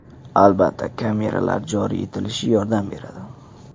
Albatta, kameralar joriy etilishi yordam beradi.